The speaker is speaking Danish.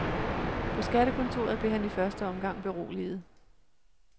På skattekontoret blev han i første omgang beroliget.